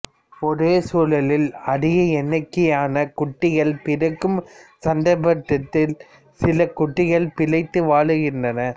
ஒரே சூலில் அதிக எண்ணிக்கையான குட்டிகள் பிறக்கும் சந்தர்ப்பத்தில் சில குட்டிகளே பிழைத்து வளர்கின்றன